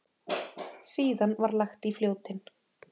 Síðan var lagt í Fljótin.